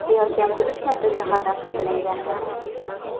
Ayol kamida uch marta zahardan foydalangani ma’lum.